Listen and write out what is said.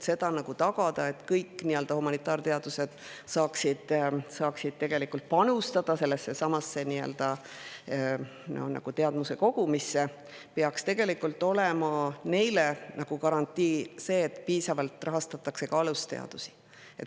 Et tagada, et kõik humanitaarteadused saaksid panustada teadmuse kogumisse, peaks tegelikult olema neile garantii, et piisavalt rahastatakse ka alusteadusi.